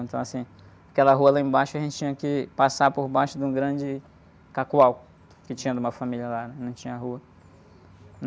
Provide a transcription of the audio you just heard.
Então, assim, aquela rua lá embaixo a gente tinha que passar por baixo de um grande, que tinha de uma família lá, não tinha rua.